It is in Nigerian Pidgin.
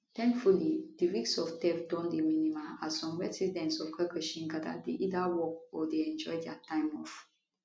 thankfully di risk of theft don dey minimal as some residents of karkashin gada dey either work or dey enjoy dia time off